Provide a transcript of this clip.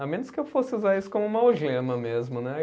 A menos que eu fosse usar isso como uma algema mesmo, né?